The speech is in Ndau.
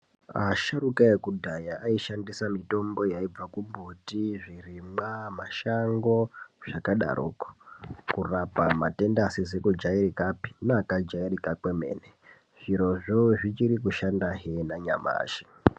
Asharukwa wekudaya ayishandisa mitombo yayibva kumbuti, zvirimwa, mashango zvakadaroko, kurapa matenda asizikujairikapi neakajairika kwemene. Zvirozvo, zvichiri kushanda henanyamashe.